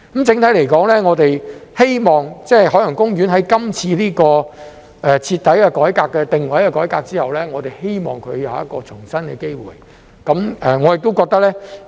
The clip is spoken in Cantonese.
整體而言，我們希望海洋公園在今次這個徹底改革、定位的改革後，會有一個重生的機會。